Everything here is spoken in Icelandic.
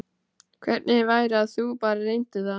Hvernig væri að þú bara reyndir það?